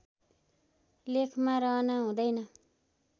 लेखमा रहन हुदैन